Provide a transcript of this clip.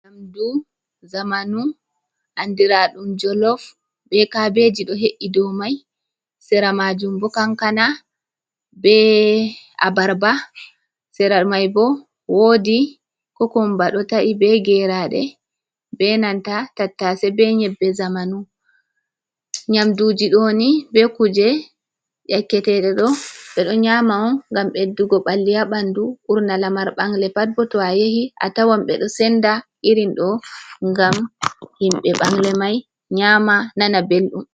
Nyamdu zamanu andira ɗum jolof be kabeji do he’i do mai, sera majum bo kankana, be a abarba, sera mai bo wodi kokumba do ta’i be geraɗe, be nanta tattase, be nyebbe zamanu. Nyamduji ɗoni be kuje yake teɗe ɗo ɓe ɗo nyama on ngam ɓeddugo ɓalli ha ɓanɗu, ɓurna lamar bangle pat bo to a yahi a tawan ɓe ɗo senda irin ɗo ngam himɓɓe ɓangle mai nyama nana belɗum.